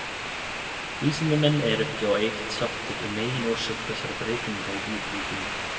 Vísindamenn eru ekki á eitt sáttir um meginorsök þessara breytinga í dýraríkinu.